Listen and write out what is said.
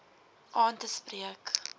aan te spreek